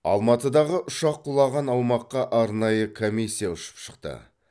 алматыдағы ұшақ құлаған аумаққа арнайы комиссия ұшып шықты